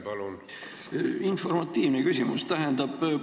Mul on informatiivne küsimus.